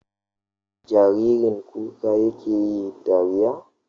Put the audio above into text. Jaririn kuka yake yi dariya?